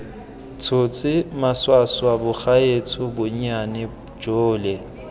tshotse maswaswa bagaetsho bonnyane jole